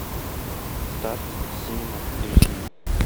старт синема эйч ди